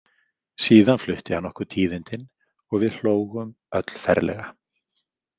Síðan flutti hann okkur tíðindin og við hlógum öll ferlega.